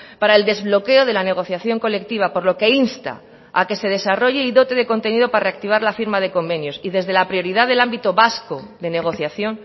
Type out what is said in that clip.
para el desbloqueo de la negociación colectiva por lo que insta a que se desarrolle y dote de contenido para reactivar la firma de convenios y desde la prioridad del ámbito vasco de negociación